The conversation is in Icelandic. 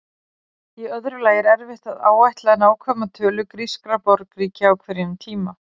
Í öðru lagi er erfitt að áætla nákvæma tölu grískra borgríkja á hverjum tíma.